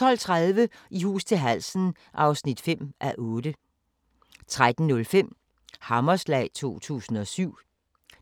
12:30: I hus til halsen (5:8) 13:05: Hammerslag 2007